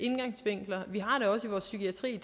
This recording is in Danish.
vores psykiatri